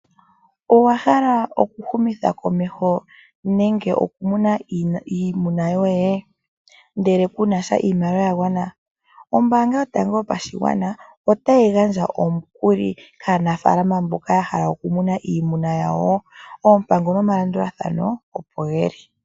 Owahala okuhumitha komeho nenge okumuna iimuna yoye ndeke kunasha iimaliwa yagwana ombanga yotango yopashigwana otayi gandja omukuli kaanafalama mboka yahala okumuna iimuna yawo oompango nomalandulathano opo geli.